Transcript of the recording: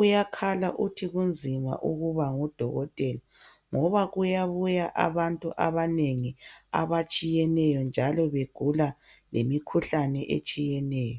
uyakhala uthi kunzima ukuba ngudokotela ngoba kuyabuya abantu abanengi abatshiyeneyo njalo begula lemikhuhlane etshiyeneyo.